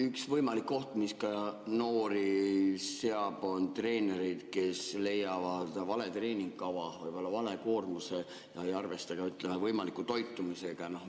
Üks võimalik oht, mis ka noori seab, on treenerid, kes valivad vale treeningkava, võib-olla vale koormuse ja ei arvesta ka, ütleme, võimaliku toitumisega.